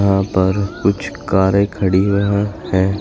यहां पर कुछ कारें खड़ी हुई हैं।